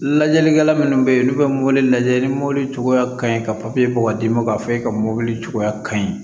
Lajɛlikɛla minnu bɛ yen n'u bɛ mobili lajɛ ni mɔbili cogoya ka ɲi ka bɔ ka d'i ma k'a fɔ e ka mɔbili cogoya ka ɲi